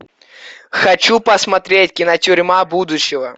хочу посмотреть кинотюрьма будущего